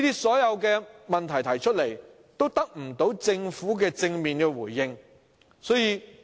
所有這些問題都得不到政府正面回應。